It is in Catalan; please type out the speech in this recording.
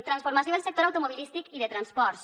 transformació del sector automobilístic i de transports